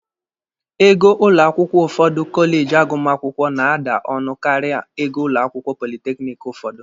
Ego ụlọ akwụkwọ ụfọdụ kọleji agụmakwụkwọ na-ada ọnụ karịa ego ụlọ akwụkwọ politekiniki ụfọdụ.